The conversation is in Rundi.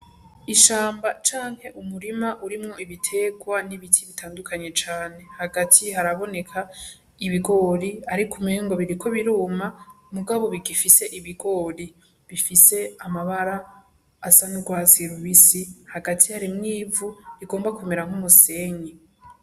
Ishamba canke umurima urimwo ibiterwa n'ibiti bitandukanye cane. Hagati haraboneka ibigori ariko umengo biriko biruma mugabo bigifise ibigori. Bifise amabara asa n'urwatsi rubisi, hagati harimwo ivu rigomba kumera nk'umusenyi.